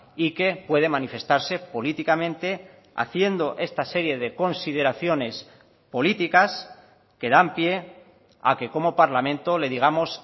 y que puede manifestarse políticamente haciendo esta serie de consideraciones políticas que dan pie a que como parlamento le digamos